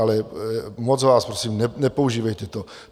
Ale moc vás prosím, nepoužívejte to.